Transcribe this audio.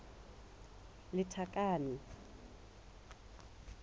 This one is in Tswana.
lethakane